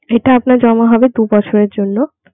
এটা আপনার জমা হবে দু বছরের জন্য.